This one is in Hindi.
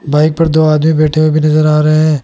बाइक पर दो आदमी बैठे हुए भी नजर आ रहे--